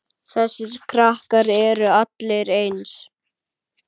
Þessir krakkar eru allir eins.